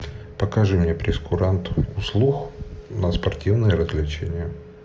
покажи мне прейскурант услуг на спортивные развлечения